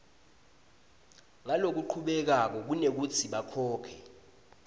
ngalokuchubekako kunekutsi bakhokhe